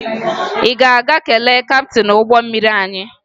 Ị ga-aga kelee kaptịn ụgbọ mmiri anyị?